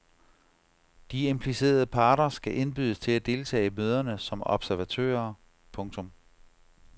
De implicerede parter skal indbydes til at deltage i møderne som observatører. punktum